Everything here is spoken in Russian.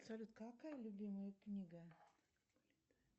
салют какая любимая книга